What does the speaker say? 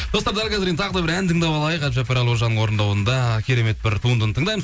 достар дәл қазір енді тағы да бір ән тыңдап алайық әбдіжаппар әлқожаның орындауында керемет бір туындыны тыңдаймыз